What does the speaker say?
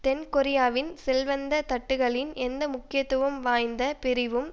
தென் கொரியாவின் செல்வந்த தட்டுக்களின் எந்த முக்கியத்துவம் வாய்ந்த பிரிவும்